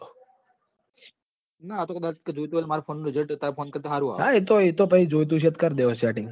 હા એ તો જોતું હશે તો કર દેશો setting